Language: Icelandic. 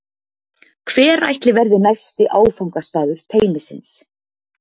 Hver ætli verði næsti áfangastaður teymisins?